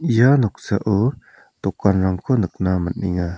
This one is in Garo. ia noksao dokanrangko nikna man·enga.